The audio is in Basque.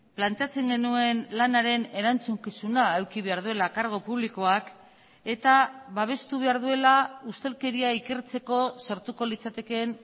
planteatzen genuen lanaren erantzukizuna eduki behar duela kargu publikoak eta babestu behar duela ustelkeria ikertzeko sortuko litzatekeen